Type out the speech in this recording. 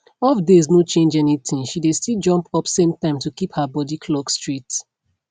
off days no change anythingshe dey still jump up same time to keep her body clock straight